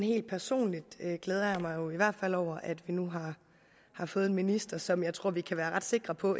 helt personligt glæder jeg mig i hvert fald over at vi nu har fået en minister som jeg tror vi kan være ret sikre på